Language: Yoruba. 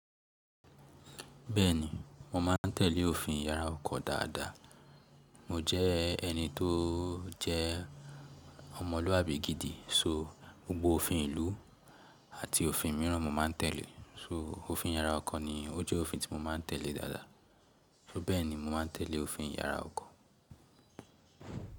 Bẹ́ẹ̀ni, mo ma n tẹ̀lé òfin yàrá ọkọ̀ dáadáa. Mo jẹ́ ẹni tó jẹ́ ọmọlúwàbí gidi so gbogbo òfin ìlú àti òfin mìíràn mo má n tẹ̀lé. So òfin yàrá ọkọ̀ ni ó jẹ́ òfin tí mo má n tẹ̀lé dáadáa. So bẹ́ẹ̀ni mo ma n tẹ̀lé òfin yàrá ọkọ̀.